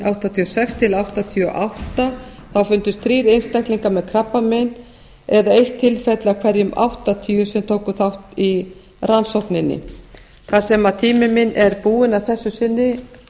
áttatíu og sex og nítján hundruð áttatíu og átta þá fundust þrír einstaklingar með krabbamein eða eitt tilfelli af hverjum átta hundruð sem tóku þátt í rannsókninni þar sem tími minn er búinn að þessu sinni